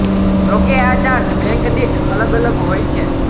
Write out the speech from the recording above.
જો કે આ ચાર્જ બેંક દીઠ અલગ અલગ હોય છે